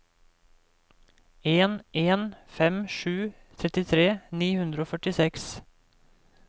en en fem sju trettitre ni hundre og førtiseks